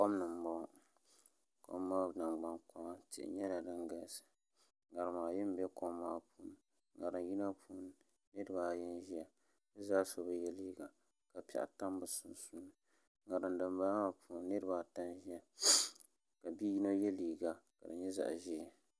Kom ni n boŋo kom maa nangbani kpaŋa tihi nyɛla din galisi ŋarima bɛ kom maa ni ŋarim yinga puuni niraba ayi n ʒɛya bi zaa so bi yɛ liiga nima ka paɣa tam bi sunsuuni ŋarim dinbala maa puuni niraba ata n ʒɛya ka bi yino yɛ liiga ka di nyɛ zaɣ ʒiɛ